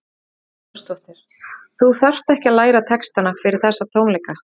Hugrún Halldórsdóttir: Þú þarft ekkert að læra textana fyrir þessa tónleika?